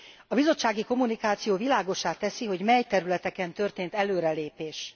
A bizottsági kommunikáció világossá teszi, hogy mely területeken történt előrelépés.